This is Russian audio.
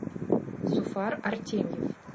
зуфар артемьев